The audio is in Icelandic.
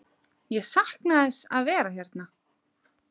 Ég sakna þess að vera hérna.